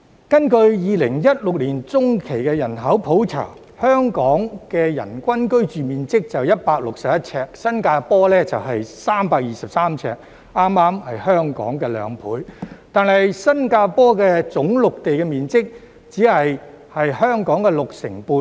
根據2016年的中期人口普查，香港人均居住面積只有161平方呎，新加坡是323平方呎，恰好是香港的兩倍，但新加坡總陸地面積只有香港六成半。